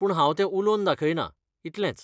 पूण हांव तें उलोवन दाखयना, इतलेंच.